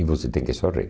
E você tem que sorrir.